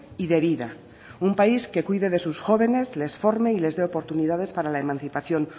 y de vida un país que cuide de sus jóvenes les forme y les dé oportunidades para la emancipación